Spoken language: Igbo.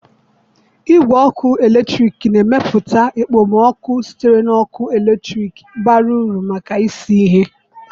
Igwe ọkụ eletrik na-emepụta okpomọkụ sitere na ọkụ eletrik bara uru maka isi ihe.